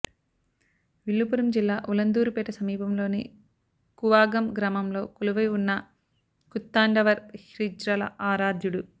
విల్లుపురం జిల్లా ఉలందూరుపేట సమీపంలోని కూవాగం గ్రామంలో కొలువై ఉన్న కూత్తాండవర్ హిజ్రాల ఆరాధ్యుడు